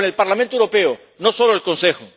Con el Parlamento Europeo, no solo el Consejo.